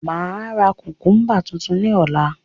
Máa ra kukumba tuntun ní ọ̀la